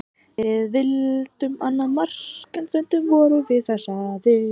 Við vildum annað mark en stundum vorum við of stressaðir.